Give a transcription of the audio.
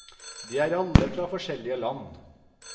De er alle fra forskjellige land.